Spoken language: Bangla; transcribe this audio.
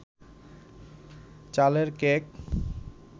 চালের কেক